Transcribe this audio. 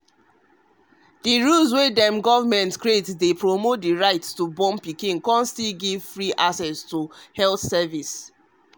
rules wey dem government create dey promote the right to born pikin con still give free access to health service.